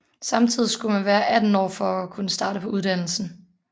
Samtidig skulle man være 18 år for at kunne starte på uddannelsen